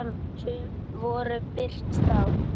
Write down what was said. Sum voru birt þá.